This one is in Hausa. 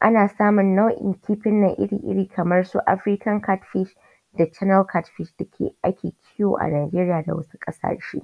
ana samun nau'in kifin nan iri-iri kamar su African catfish da su catfish da ake kiwo a Nijeriya da wasu kasashen.